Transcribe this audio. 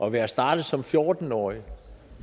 at være startet som fjorten årig